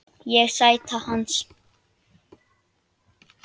Ég: Sæta hans.